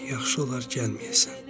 Yaxşı olar gəlməyəsən.